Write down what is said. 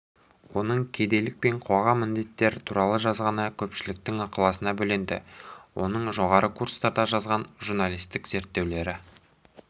оның кедейлік пен қоғамдық індеттер туралы жазғаны көпшіліктің ықыласына бөленді оның жоғары курстарда жазған журналистік зерттеулері